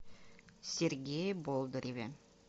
сергее болдыреве